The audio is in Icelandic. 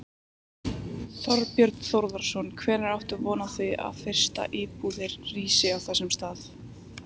Þorbjörn Þórðarson: Hvenær áttu von á því að fyrstu íbúðir rísi á þessum stað?